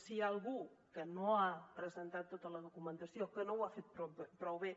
si hi ha algú que no ha presentat tota la documentació que no ho ha fet prou bé